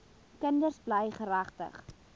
kinders bly geregtig